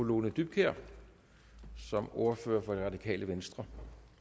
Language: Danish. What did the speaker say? lone dybkjær som ordfører for det radikale venstre